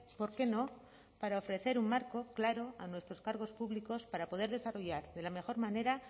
por qué no para ofrecer un marco claro a nuestros cargos públicos para poder desarrollar de la mejor manera